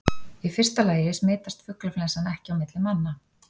Í fyrsta lagi smitast fuglaflensan ekki á milli manna.